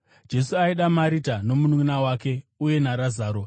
Jesu aida Marita, nomununʼuna wake uye naRazaro.